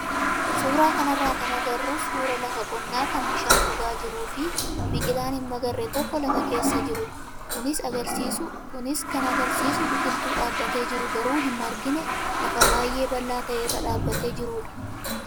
Suuraa kanarraa kan agarru suuraa lafa qonnaa kan bishaan dhugaa jiruu fi biqilaan hin magarre tokko lafa keessa jirudha. Kunis kan agarsiisu biqiltuu dhaabbatee jiru garuu hin margine lafa baay'ee bal'aa ta'e irra dhaabbatee jirudha.